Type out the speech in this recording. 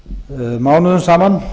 mánuðum saman